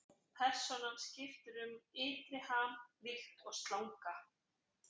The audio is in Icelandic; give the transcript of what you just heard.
Persónan skiptir um ytri ham líkt og slanga.